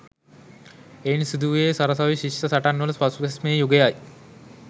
එයින් සිදු වූයේ සරසවි ශිෂ්‍ය සටන්වල පසුබැස්මේ යුගයයි.